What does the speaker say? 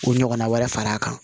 U ɲɔgɔnna wɛrɛ fara a kan